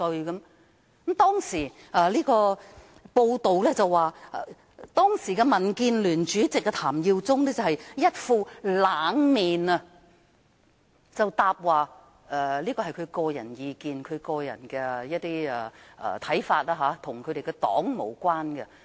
有報道指出，當時的民建聯主席譚耀宗擺出一副"冷面"，回答那是蔣議員的個人意見及看法，與黨派無關。